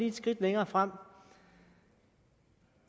et skridt længere frem